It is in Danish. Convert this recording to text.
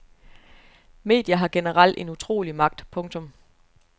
Medier har generelt en utrolig magt. punktum